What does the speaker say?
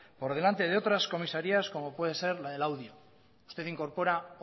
por delante de otras comisarías como puede ser la de laudio usted incorpora